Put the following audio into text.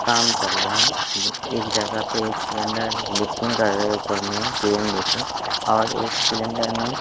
काम चल रहे हैं एक जगह पे एक सिलेंडर लिफ्टिंग कर रहे हैं ऊपर में क्रेन लेके और एक सिलेंडर में--